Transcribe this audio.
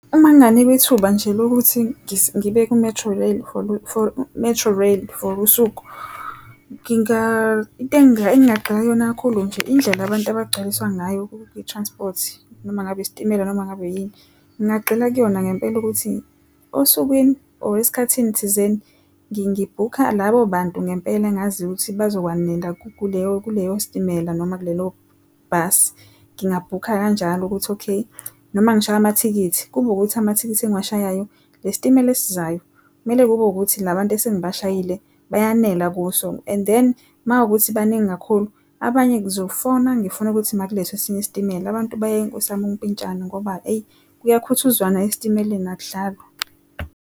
Uma nginganikwa ithuba nje lokuthi ngibe ku-Metrorail Metrorail for usuku into engingaqeka kuyona kakhulu nje indlela abantu abangcwaliswa ngayo kwi-transport noma ngabe isitimela noma ngabe yini. Ngingagxila kuyona ngempela ukuthi osukwini or esikhathini thizeni bhukha labo bantu, ngempela ngazi ukuthi bazokwanela kuleyo sitimela noma kulelo bhasi ngingabhukha kanjalo ukuthi, okay noma ngishaye amathikithi, kube ukuthi amathikithi engiwashayayo esitimela esizayo. Kumele kube ukuthi la bantu esengi bashayile bayanela kuso, and then makuwukuthi baningi kakhulu abanye ngizofona ngifuna ukuthi ma kulethwe esinye isitimela abantu bayeke nkosi yami ukumpintshana ngoba eyi, kuyakhuthuzwana esitimeleni, akudlalwa.